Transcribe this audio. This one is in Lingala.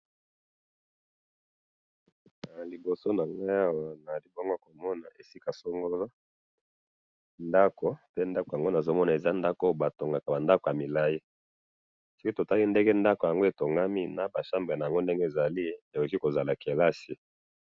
Naliboso nangayi awa nazalikomona esika songolo ndako, pendako yango nazomona ezandako oyo batongaka bandako yamilayi, soki totali ndenge ndako yango etongami, naba chambre nango ndenge ezali, ekoki kozala kelasi